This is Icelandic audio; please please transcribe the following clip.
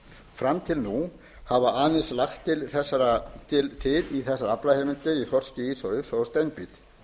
fram til nú hafa aðeins lagt til í þessar aflaheimildir í þorski ýsu og steinbít